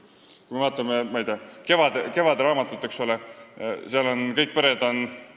Kui me vaatame näiteks "Kevade" raamatut, siis seal on kõik ühelapselised pered.